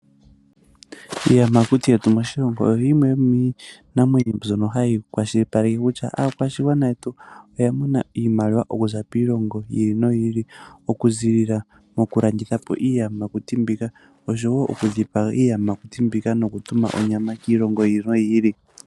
Iiyamakuti yetu moshilongo oyo yimwe yomiinima mbyono hayi kwashilipaleke kutya aakwashigwana yetu oyamona oshimaliwa okuza kiilongo yi ili noyi ili, okuziilila moku landitha po iiyamakuti mbika nosho wo okudhipaga po iiyamakuti mbika noku tuma onyama kiilongo yi ili noyi ili.